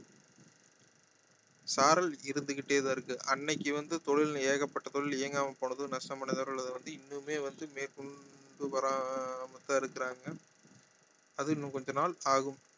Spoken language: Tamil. சாரல் இருந்து கிட்டேதான் இருக்கு அன்னைக்கு வந்து தொழில் ஏகப்பட்ட தொழில் இயங்காம போனதும் நஷ்டம் அடைந்தவர்கள் இன்னுமே வந்து மேற்கொண்டு வராம தான் இருக்குறாங்க அது இன்னும் கொஞ்ச நாள் ஆகும்